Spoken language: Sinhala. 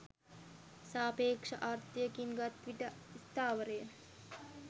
සාපේක්ෂ අර්ථයකින් ගත් විට ස්ථාවර ය